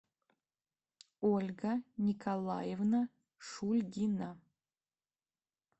ольга николаевна шульгина